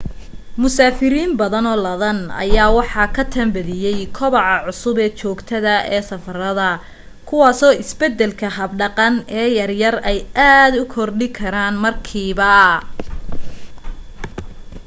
musaafiriin badano ladan ayaa waxa ka tan badiye kobaca cusub joogtada ee safarada kuwaaso isbadalka hab dhaqan ee yar yar ay aad u kordhi karaan markiiba